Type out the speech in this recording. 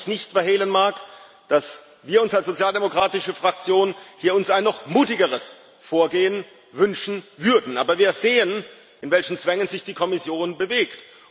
Auch wenn ich nicht verhehlen mag, dass wir als sozialdemokratische Fraktion uns allen hier ein noch mutigeres Vorgehen wünschen würden, aber wir sehen, in welchen Zwängen sich die Kommission bewegt.